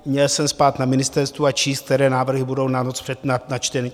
Měl jsem spát na ministerstvu a číst, které návrhy budou na noc načteny?